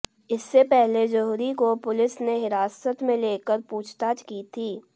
इससे पहले जौहरी को पुलिस ने हिरासत में लेकर पूछताछ की थी